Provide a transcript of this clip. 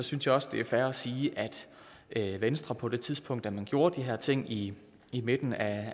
synes jeg også det er fair at sige at venstre på det tidspunkt da man gjorde de her ting i i midten af